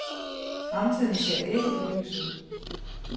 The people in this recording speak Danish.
Fremtiden ser ikke for lys ud.